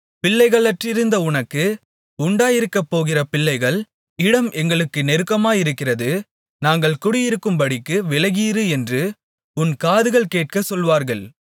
பிள்ளைகளற்றிருந்த உனக்கு உண்டாயிருக்கப்போகிற பிள்ளைகள் இடம் எங்களுக்கு நெருக்கமாயிருக்கிறது நாங்கள் குடியிருக்கும்படிக்கு விலகியிரு என்று உன் காதுகள் கேட்கச்சொல்வார்கள்